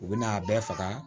U bɛna a bɛɛ faga